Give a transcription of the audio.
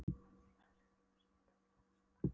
Síra Sigurður vissi fátt dapurlegra en föstudaginn langa.